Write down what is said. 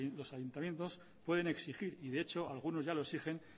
los ayuntamientos pueden exigir y de hecho algunos ya lo exigen